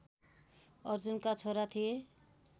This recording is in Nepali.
अर्जुनका छोरा थिए